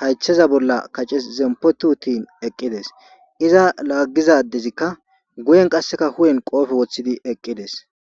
haytheza bolla kace zempotuutin eqqides iza laaggizadezikka guyen qasseka hu7en qoofe woththidi eqqides